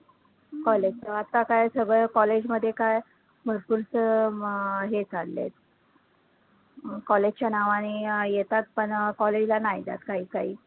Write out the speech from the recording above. आता काय सगळं college मध्ये काय, भरपूर च अं मग हे चाललंय college च्या नावाने येतात अं पण college ला नाही जात काही काही